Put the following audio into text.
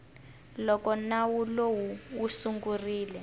loko nawu lowu wu sungurile